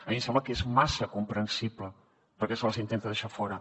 a mi em sembla que és massa comprensible per què se les intenta deixar fora